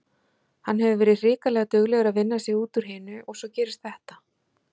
Hann hefur verið hrikalega duglegur að vinna sig út úr hinu og svo gerist þetta.